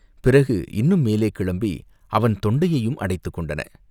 பிறகு இன்னும் மேலே கிளம்பி அவன் தொண்டையையும் அடைத்துக் கொண்டன.